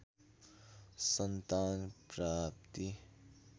सन्तान प्राप्ति